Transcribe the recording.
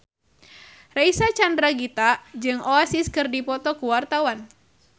Reysa Chandragitta jeung Oasis keur dipoto ku wartawan